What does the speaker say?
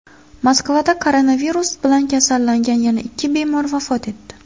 Moskvada koronavirus bilan kasallangan yana ikki bemor vafot etdi.